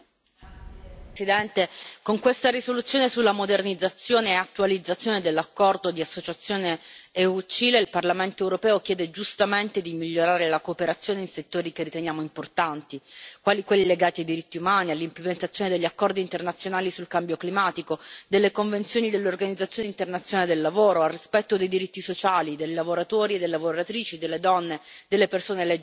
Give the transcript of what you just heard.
Signora Presidente, onorevoli colleghi, con questa risoluzione sulla modernizzazione e attualizzazione dell'accordo di associazione UE Cile il Parlamento europeo chiede giustamente di migliorare la cooperazione in settori che riteniamo importanti, quali quelli legati ai diritti umani, all'implementazione degli accordi internazionali sul cambio climatico, delle convenzioni dell'Organizzazione internazionale del lavoro, al rispetto dei diritti sociali dei lavoratori e delle lavoratrici, delle donne, delle persone LGBTQI.